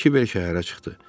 Kiber şəhərə çıxdı.